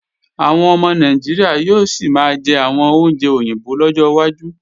Àwọn ọmọ Nàìjíríà yóò sì máa jẹ àwọn oúnjẹ òyìnbó lọ́jọ́ wájú